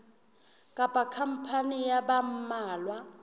kapa khampani ya ba mmalwa